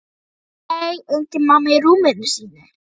Nei, engin mamma í rúminu sínu.